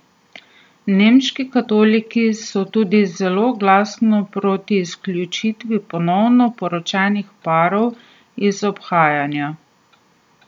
Nemški katoliki so tudi zelo glasno proti izključitvi ponovno poročenih parov iz obhajanja.